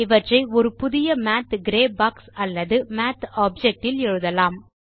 இவற்றை ஒரு புதிய மாத் கிரே பாக்ஸ் அல்லது மாத் ஆப்ஜெக்ட் இல் எழுதலாம்